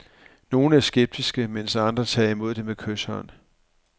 Nogle er skeptiske, mens andre tager imod med kyshånd.